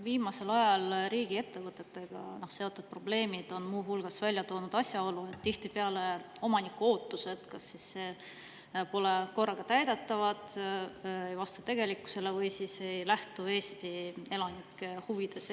Viimasel ajal riigiettevõtetega seotud probleemid on muu hulgas välja toonud asjaolu, et tihtipeale omaniku ootused kas siis pole korraga täidetavad, ei vasta tegelikkusele või siis ei lähtu Eesti elanike huvidest.